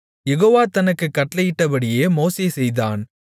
யெகோவா தனக்குக் கட்டளையிட்டபடியே மோசே செய்தான்